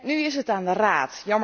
Nu is het aan de Raad.